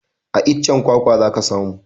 A iccen kwakwa za ka samu